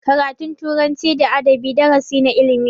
Karatun turanci da adabi darasi na ilimi ne.